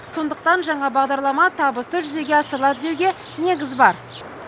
сондықтан жаңа бағдарлама табысты жүзеге асырылады деуге негіз бар